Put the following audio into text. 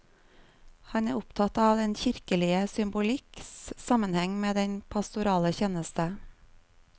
Han er opptatt av den kirkelige symbolikks sammenheng med den pastorale tjeneste.